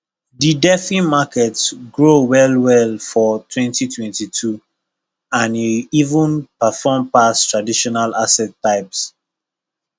the defi market grow well well for 2022 and e even perform pass traditional asset types